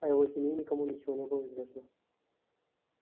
о его семье никому ничего не было известно